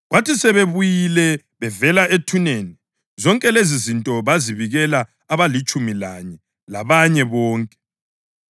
Kwathi sebebuyile bevela ethuneni, zonke lezizinto bazibikela abalitshumi lanye labanye bonke.